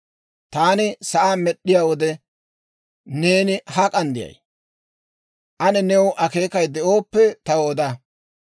«Taani sa'aa med'd'iyaa wode, neeni hak'an de'ay? Ane new akeekay de'ooppe, taw oda.